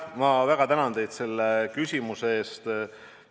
Ma väga tänan teid selle küsimuse eest!